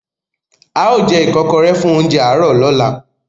Ao je ikokore fun ounjẹ aro lola